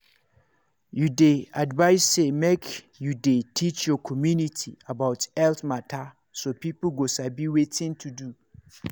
you dey advised say make you dey teach your community about health mata so people go sabi wetin to do.